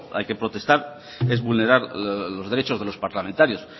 hay que protestar es vulnerar los derechos de los parlamentarios